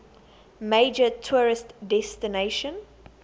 major tourist destination